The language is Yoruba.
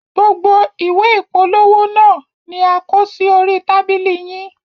Gbogbo ìwé ìpolówó naa ni a kò sí orí tábìlì yín.